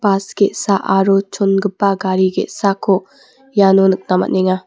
bas ge·sa aro chongipa gari ge·sako iano nikna man·enga.